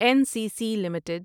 N C C limited